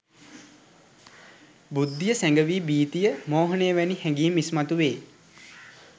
බුද්ධිය සැඟවී භීතිය, මෝහය වැනි හැඟීම් ඉස්මතු වේ.